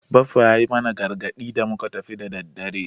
Baffa ya yi mana gargadi da muka tafi da daddare.